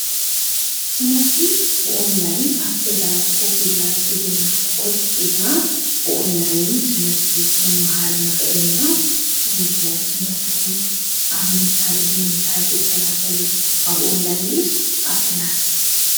ንሕና ትምህርቲ ብቀጥታ ኣብ ገዛ ኮይንና ንመሃር ንስኹም ከ?